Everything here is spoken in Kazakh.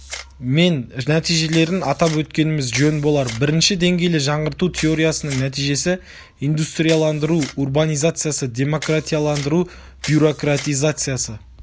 мен нәтижелерін атап өткеніміз жөн болар бірінші деңгейлі жаңғырту теориясының нәтижесі индустрияландыру урбанизацияны демократияландыру бюрократизациясы